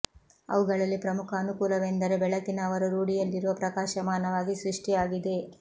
ಅವುಗಳಲ್ಲಿ ಪ್ರಮುಖ ಅನುಕೂಲವೆಂದರೆ ಬೆಳಕಿನ ಅವರು ರೂಢಿಯಲ್ಲಿರುವ ಪ್ರಕಾಶಮಾನವಾಗಿ ಸೃಷ್ಟಿ ಆಗಿದೆ